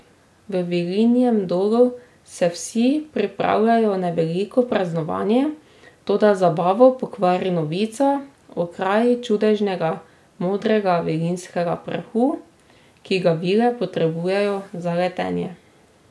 V Vilinjem dolu se vsi pripravljajo na veliko praznovanje, toda zabavo pokvari novica o kraji čudežnega modrega vilinskega prahu, ki ga vile potrebujejo za letenje.